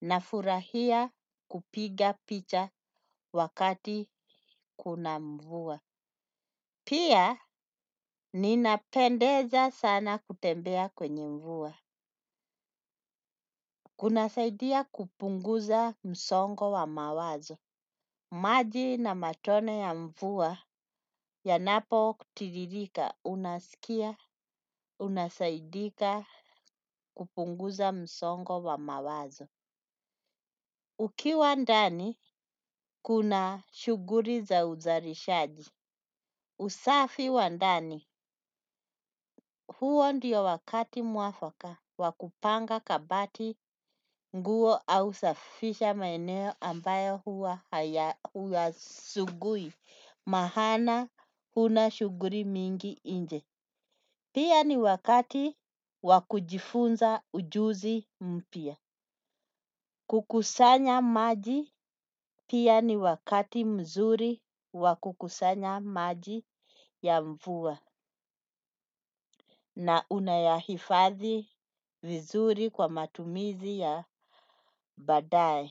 Nafurahia kupiga picha wakati kuna mvua. Pia ninapendeza sana kutembea kwenye mvua. Kunasaidia kupunguza msongo wa mawazo. Maji na matone ya mvua yanapo tiririka, unasikia, unasaidika kupunguza msongo wa mawazo. Ukiwa ndani, kuna shuguri za uzarishaji. Usafi wa ndani, huo ndiyo wakati mwafaka wa kupanga kabati nguo au safisha maeneo ambayo hua huyasugui. Mahana huna shuguri mingi inje. Pia ni wakati wakujifunza ujuzi mpia. Kukusanya maji pia ni wakati mzuri wa kukusanya maji ya mvuwa. Na unayahifathi vizuri kwa matumizi ya badae.